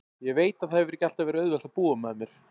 Ég veit að það hefur ekki alltaf verið auðvelt að búa með mér.